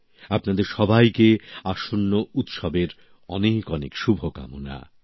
আপনাদের সবাইকে আসন্ন উৎসবের অনেক অনেক শুভকামনা